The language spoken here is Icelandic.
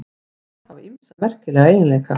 Alhæfingar hafa ýmsa merkilega eiginleika.